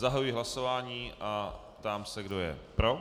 Zahajuji hlasování a ptám se, kdo je pro.